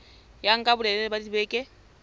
ya nka bolelele ba dibeke